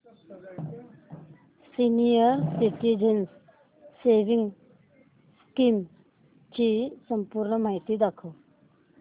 senior citizens savings scheme ची संपूर्ण माहिती दाखव